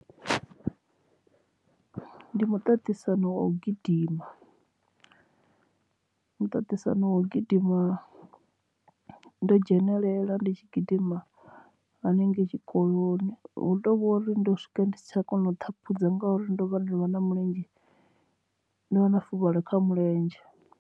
Ndi muṱaṱisano wa u gidima muṱaṱisano wa u gidima ndo dzhenelela ndi tshi gidima hanengei tshikoloni hu tovhori ndo swika ndi si tsha kona u ṱhaphudza ngauri ndo vha ndo vha na mulenzhe ndo wana fuvhalo kha mulenzhe.